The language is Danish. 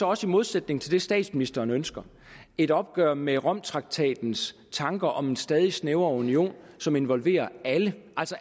også i modsætning til det statsministeren ønsker et opgør med romtraktatens tanker om en stadig snævrere union som involverer alle